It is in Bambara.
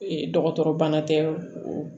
Ee dɔgɔtɔrɔ bana tɛ